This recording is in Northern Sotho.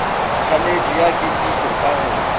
kganetšo ya kekišo ka go